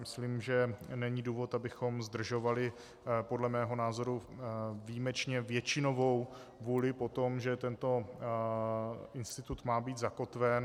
Myslím, že není důvod, abychom zdržovali podle mého názoru výjimečně většinovou vůli po tom, že tento institut má být zakotven.